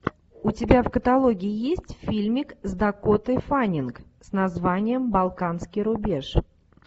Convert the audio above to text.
у тебя в каталоге есть фильмик с дакотой фаннинг с названием балканский рубеж